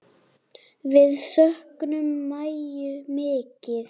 Við söknum Maju mikið.